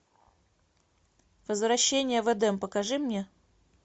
возвращение в эдем покажи мне